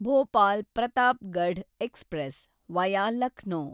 Bhopal Pratapgarh express, via Lucknow